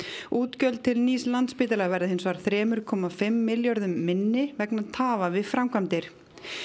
útgjöld til nýs Landspítala verða hins vegar þrjú komma fimm milljörðum minni vegna tafa við framkvæmdir